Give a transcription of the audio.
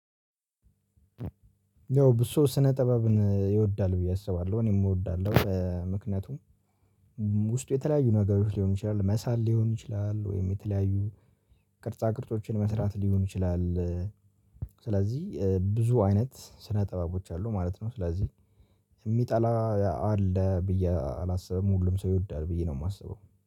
ያው ብዙ ሰው ስነ ጥበብን ይወዳል ብዬ አስባለሁ እኔም እወዳለሁ። ምክንያቱም ውስጡ የተለያዩ ነገሮች ሊሆን ይችላል መሳል ሊሆን ይችላል ወይም የተለያዩ ቅርጻ ቅርጾችን መስራት ሊሆን ይችላል። ስለዚህ ብዙ አይነት ስነ ጥበቦች አሉ ማለት ነው። ስለዚህ የሚጠላ አለ ብዬ አላስብም ሁሉም ሰው ይወዳል ብዬ ነው የማስበው